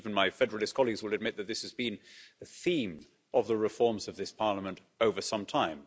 I think even my federalist colleagues will admit that this has been the theme of the reforms of this Parliament over some time.